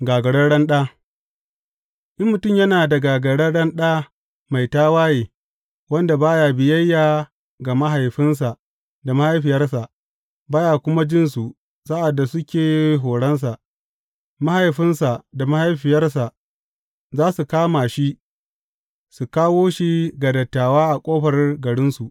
Gagararren ɗa In mutum yana da gagararren ɗa mai tawaye, wanda ba ya biyayya ga mahaifinsa da mahaifiyarsa, ba ya kuma jin su sa’ad da suke horonsa, mahaifinsa da mahaifiyarsa za su kama shi su kawo shi ga dattawa a ƙofar garinsu.